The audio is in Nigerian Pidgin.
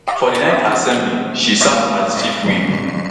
for di nineth assembly she serve as di chief whip